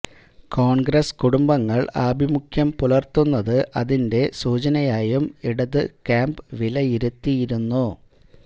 കോണ്ഗ്രസ് കുടുംബങ്ങള് ആഭിമുഖ്യം പുലര്ത്തുന്നത് അതിന്റെ സൂചനയായും ഇടതു ക്യാമ്പ് വിലയിരുത്തുന്നു